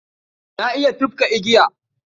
Na iya tufka igiya.